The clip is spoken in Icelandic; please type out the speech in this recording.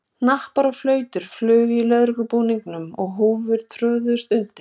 Hnappar og flautur flugu af lögreglubúningum og húfur tróðust undir.